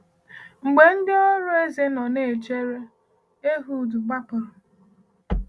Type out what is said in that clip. Mgbe ndị ọrụ eze nọ na-echere, Ehud gbapụrụ.